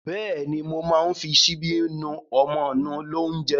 Bẹ́ẹ̀ ni, mo máa ń fi ṣíbí nú ọmọ nú lóúnjẹ.